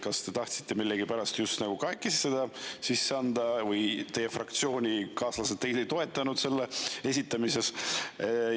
Kas te tahtsite millegipärast just kahekesi seda sisse anda või teie fraktsioonikaaslased teid ei toetanud selle esitamisel?